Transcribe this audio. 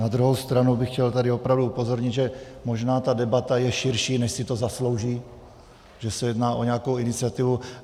Na druhou stranu bych chtěl tady opravdu upozornit, že možná ta debata je širší, než si to zaslouží, že se jedná o nějakou iniciativu.